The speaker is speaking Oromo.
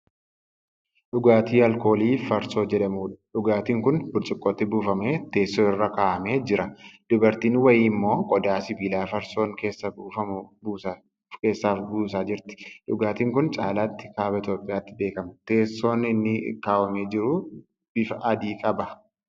Dhugaatii alkoolii farsoo jedhamuudha. Dhugaatiin kun burcuqqootti buufamee teessoo irra kaawwamee jira. Dubartiin wayii ammoo qodaa sibiilaa farsoon keessaa buufamu keessaa buusaa jirti. Dhugaatiin kun caalatti kaaba Itoophiyaatti beekama. Teessoon inni irra kaawwamee jiru bifa adii qaba.